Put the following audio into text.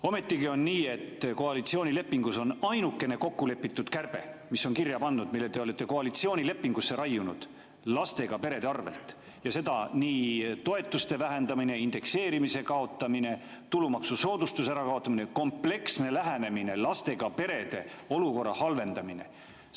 Ometigi on nii, et koalitsioonilepingus on ainukene kokku lepitud kärbe, mis on kirja pandud, mille te olete koalitsioonilepingusse raiunud, lastega perede arvelt, ja seda nii toetuste vähendamise, indekseerimise kaotamise, tulumaksusoodustuse kaotamise, kompleksse lähenemise, lastega perede olukorra halvendamise kaudu.